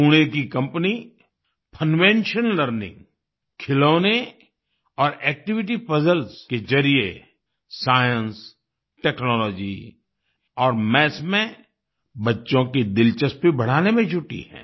पुणे की company Funvention Funvention learning खिलौने और एक्टिविटी पजल्स पजल्स के जरिये साइंस टेक्नोलॉजी और मैथ्स में बच्चों की दिलचस्पी बढ़ाने में जुटी है